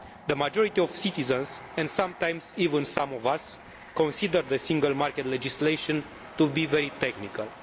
The majority of citizens, and sometimes even some of us, consider the single market legislation to be very technical.